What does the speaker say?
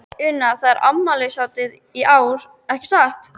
Una, þetta er afmælishátíð í ár, ekki satt?